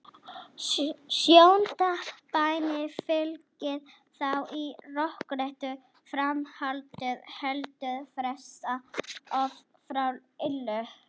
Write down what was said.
Sjöunda bænin fylgir þá í rökréttu framhaldi: Heldur frelsa oss frá illu.